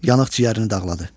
Yanıq ciyərini dağladı.